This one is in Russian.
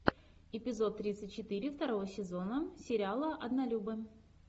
эпизод тридцать четыре второго сезона сериала однолюбы